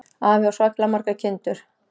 Afi á svakalega margar kindur.